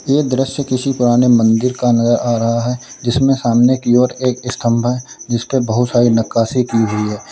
ये दृश्य किसी पुराने मंदिर का नया आ रहा है जिसमें सामने की ओर एक स्तंभ है जिसपे बहुत सारी नक्काशी की हुई है।